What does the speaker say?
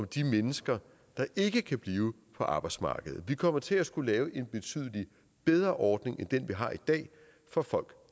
de mennesker der ikke kan blive på arbejdsmarkedet vi kommer til at skulle lave en betydelig bedre ordning end den vi har i dag for folk